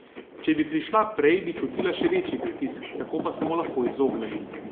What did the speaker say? Če bi prišla prej, bi čutila še večji pritisk, tako pa se mu lahko izognem.